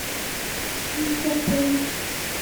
антропович